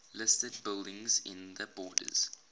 listed buildings in the borders